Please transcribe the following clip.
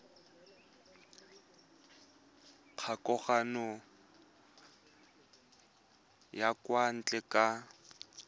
kgokagano ya kwa ntle ka